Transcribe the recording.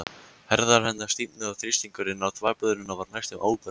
Herðar hennar stífnuðu og þrýstingurinn á þvagblöðruna varð næstum óbærilegur.